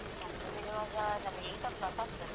ನಮ್ದು ಬಿಡುವಾಗ ನಂದು eight o'clock .